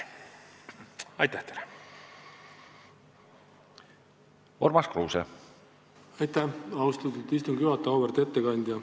Auväärt ettekandja!